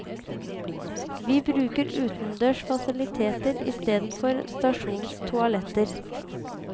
Vi bruker utendørs fasiliteter istedenfor stasjonens toaletter.